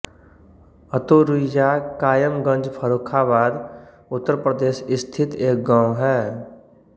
अतुरुइया कायमगंज फर्रुखाबाद उत्तर प्रदेश स्थित एक गाँव है